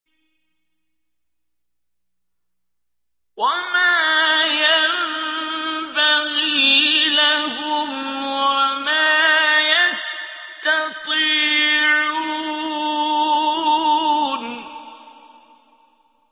وَمَا يَنبَغِي لَهُمْ وَمَا يَسْتَطِيعُونَ